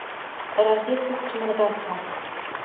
рождественский мадагаскар